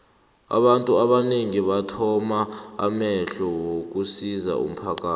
abantu abanengi bathoma amahlelo wokusizo umphakathi